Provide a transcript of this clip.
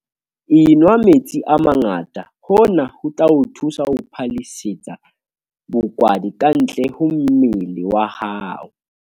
Enwa metsi a mangata - hona ho tla o thusa ho phallisetsa bokwadi kantle ho mmele wa hao.